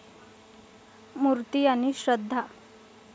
मूर्ती आणि श्रद्धा